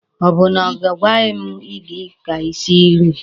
Ọ bụ na a gwaghi m gị ka i sie nri?